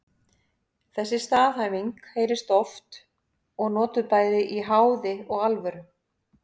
Þessi staðhæfing heyrist oft og notuð bæði í háði og alvöru.